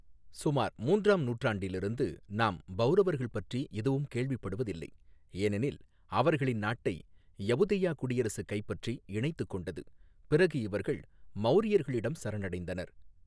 சுமார் மூன்றாம் நூற்றாண்டிலிருந்து நாம் பவுரவர்கள் பற்றி எதுவும் கேள்விப்படுவதில்லை, ஏனெனில் அவர்களின் நாட்டை யவுதேயா குடியரசு கைப்பற்றி இணைத்துக் கொண்டது, பிறகு இவர்கள் மௌரியர்களிடம் சரணடைந்தனர்.